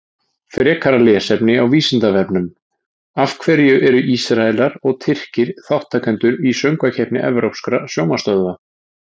Frekara lesefni á Vísindavefnum Af hverju eru Ísraelar og Tyrkir þátttakendur í Söngvakeppni evrópskra sjónvarpsstöðva?